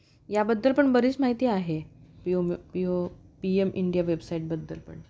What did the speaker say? याबद्दल पण बरीच माहिती आहे पीएम इंडिया वेबसाईट बद्दल पण.